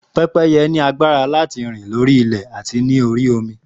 Pẹ́pẹ́yẹ ní agbára láti rìn lórí ilẹ̀ àti lórí omi